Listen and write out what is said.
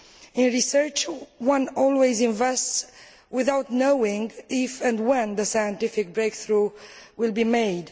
In research, one always invests without knowing if and when the scientific breakthrough will be made.